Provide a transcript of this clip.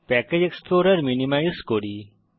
package এক্সপ্লোরের minimise করি